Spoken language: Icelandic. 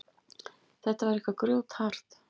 Þetta var eitthvað grjóthart.